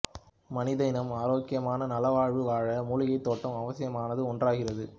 மனித இனம் ஆரோக்கியமான நல வாழ்வு வாழ மூலிகை தோட்டம் அவசியமான ஒன்றாகிறது